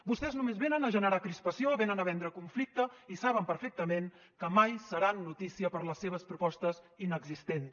vostès només venen a generar crispació venen a vendre conflicte i saben perfectament que mai seran notícia per les seves propostes inexistents